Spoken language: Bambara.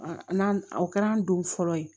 N'an o kɛra an don fɔlɔ ye